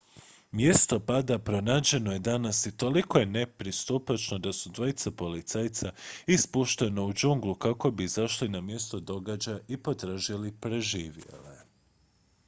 mjesto pada pronađeno je danas i toliko je nepristupačno da su dvojica policajaca ispuštena u džunglu kako bi izašli na mjesto događaja i potražili preživjele